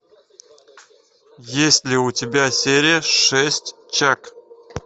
есть ли у тебя серия шесть чак